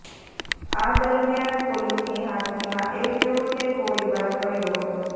આ દરમિયાન પોલીસની હાજરીમાં એક યુવકે ગોળીબાર કર્યો હતો